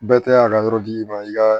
Bɛɛ tɛ a ka yɔrɔ di i ma i ka